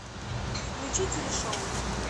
включи телешоу